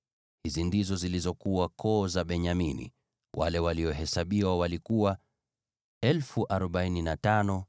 Hizi ndizo zilizokuwa koo za Benyamini; wale waliohesabiwa walikuwa 45,600.